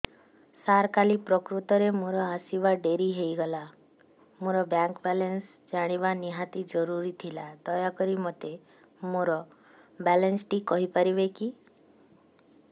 ସାର କାଲି ପ୍ରକୃତରେ ମୋର ଆସିବା ଡେରି ହେଇଗଲା ମୋର ବ୍ୟାଙ୍କ ବାଲାନ୍ସ ଜାଣିବା ନିହାତି ଜରୁରୀ ଥିଲା ଦୟାକରି ମୋତେ ମୋର ବାଲାନ୍ସ ଟି କହିପାରିବେକି